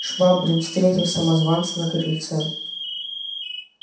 швабрин встретил самозванца на крыльце